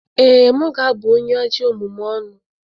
Ee, m ga-abụ onye ajọ omume ọnụ.